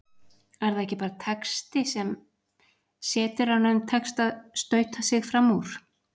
Er það ekki bara texti, sem setjaranum tekst að stauta sig fram úr?